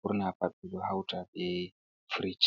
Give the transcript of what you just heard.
Ɓurna pat ɓe ɗo houta be Firich.